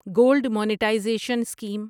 gold monetization scheme